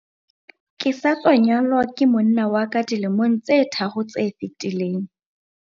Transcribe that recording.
Ke sa tswa nyalwa ke monna wa ka dilemong tse tharo tse fetileng.